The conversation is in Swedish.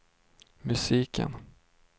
musiken